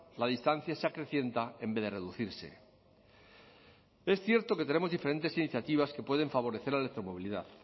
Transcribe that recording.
la distancia se acrecienta en vez de reducirse es cierto que tenemos diferentes iniciativas que pueden favorecer la electromovilidad